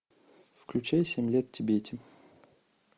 включай семь лет в тибете